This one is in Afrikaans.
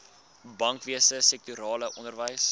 bankwese sektorale onderwys